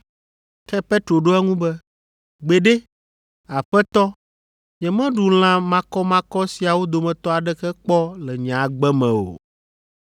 Ke Petro ɖo eŋu be, “Gbeɖe, Aƒetɔ, nyemeɖu lã makɔmakɔ siawo dometɔ aɖeke kpɔ le nye agbe me o.”